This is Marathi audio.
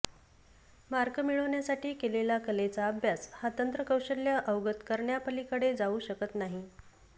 मार्क मिळवण्यासाठी केलेला कलेचा अभ्यास हा तंत्र कौशल्य अवगत करण्यापलीकडे जाऊ शकत नाही